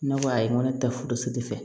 Ne ko ayi n ko ne tɛ furusiri fɛ